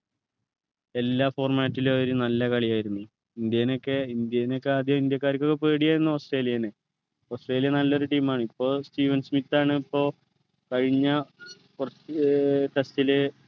എല്ലാ format ലും അവര് നല്ല കളിയായിരുന്നു ഇന്ത്യനെഒക്കെ ഇന്ത്യനെഒക്കെ ആദ്യം ഇന്ത്യക്കാർക്കൊക്കെ പേടിയായിരുന്നു ഓസ്‌ട്രേലിയനെ ഓസ്‌ട്രേലിയ നല്ലൊരു team ആണ് ഇപ്പൊ സ്റ്റീവൻ സ്മിത്ത് ആണ് ഇപ്പൊ കഴിഞ്ഞ കുറച്ചു ഏർ test ലു